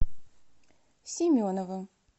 семенова